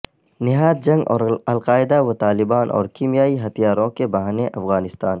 نہاد جنگ اور القاعدہ و طالبان اور کمیائی ہتھیاروں کے بہانے افغانستان